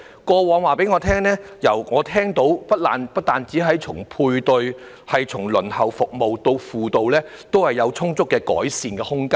過去的經驗讓我知道，從配對、輪候服務，以至輔導，皆有充足的改善空間。